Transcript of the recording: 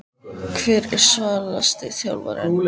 Hver er svalasti þjálfarinn?